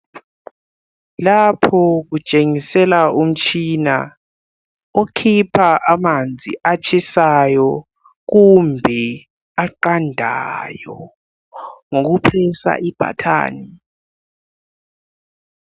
Lapho kutshengisela umtshina okhipha amanzi atshisayo kumbe aqandayo ngokuncindezela ibutton.